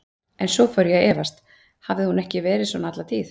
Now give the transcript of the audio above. En svo fór ég að efast: hafði hún ekki verið svona alla tíð?